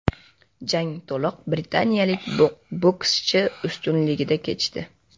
Jang to‘liq britaniyalik bokschi ustunligida kechdi.